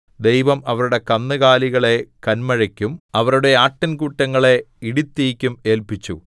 ദൈവം അവരുടെ കന്നുകാലികളെ കന്മഴക്കും അവരുടെ ആട്ടിൻകൂട്ടങ്ങളെ ഇടിത്തീയ്ക്കും ഏല്പിച്ചു